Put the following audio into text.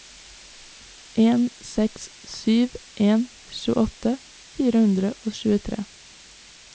en seks sju en tjueåtte fire hundre og tjuetre